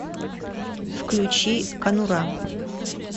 включи конура